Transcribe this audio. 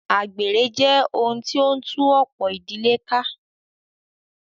Àgbèrè jẹ́ ohun tí o ń tú ọ̀pọ̀ ìdílé ká.